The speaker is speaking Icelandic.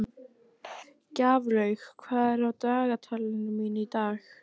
Gjaflaug, hvað er á dagatalinu mínu í dag?